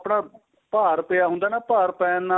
ਉਹ ਆਪਣਾ ਭਾਰ ਪਇਆ ਹੁੰਦਾ ਨਾ ਭਾਰ ਪੈਣ ਨਾਲ